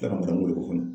Kan ka ban ko de kɔnɔ